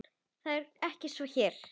Það er ekki svo hér.